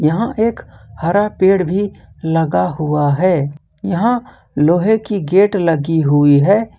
यहां एक हरा पेड़ भी लगा हुआ है यहां लोहे की गेट लगी हुई है।